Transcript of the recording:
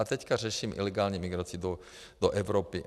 A teď řeším ilegální migraci do Evropy.